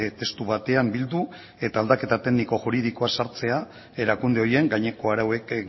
testu batean bildu eta aldaketa tekniko juridikoak sartzea erakunde horien gaineko arauek